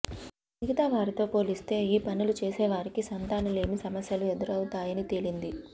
మిగతా వారితో పోలిస్తే ఈ పనులు చేసేవారికి సంతానలేమి సమస్యలు ఎదురవుతాయని తేలింది